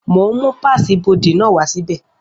Mo ń mú páàsì ibodè náà wá sí bẹ̀